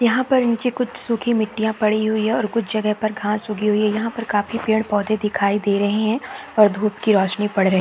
यहाँ पर नीचे कुछ सुखी मिट्टिया पड़ी हुई है और कुछ जगहों पर घाँस उगी हुई है यहाँ पर काफी पेड़-पौधे दिखाई दे रहे है और धुप की रौशनी पड़ रहे है।